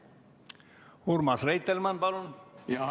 Urmas Reitelmann, palun!